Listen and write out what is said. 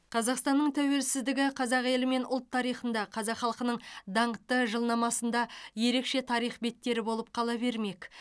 қазақстанның тәуелсіздігі қазақ елі мен ұлт тарихында қазақ халқының даңқты жылнамасында ерекше тарих беттері болып қала бермек